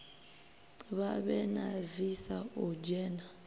vhavhe na visa u dzhena